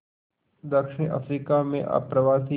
दक्षिण अफ्रीका में अप्रवासी